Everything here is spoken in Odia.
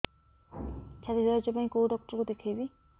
ଛାତି ଦରଜ ପାଇଁ କୋଉ ଡକ୍ଟର କୁ ଦେଖେଇବି